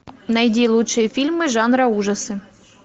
найди лучшие фильмы жанра ужасы